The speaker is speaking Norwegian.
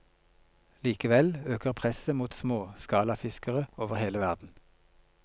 Likevel øker presset mot småskalafiskere over hele verden.